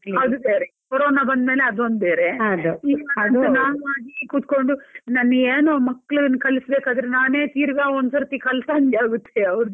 ಅದು ಸರಿ corona ಬಂದ್ಮೇಲೆ ಅದೊಂದು ಬೇರೆ ನಾನ್ ಮಾಡಿ ಕುತ್ಕೊಂಡು ನನಗೇನು ಮಕ್ಕಳಿಗೆ ಕಲಿಸ್ಬೇಕಾದ್ರೆ ನಾನೆ ತಿರ್ಗ ಒಂದ್ ಸತೀ ಕಲ್ತಹಂಗೆ ಆಗತ್ತೆ ಅವರ್ದು.